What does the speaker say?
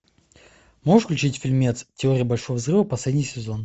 можешь включить фильмец теория большого взрыва последний сезон